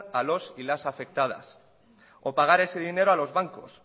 a los y las afectadas o pagar ese dinero a los bancos